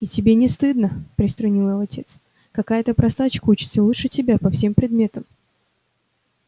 и тебе не стыдно приструнил его отец какая-то простачка учится лучше тебя по всем предметам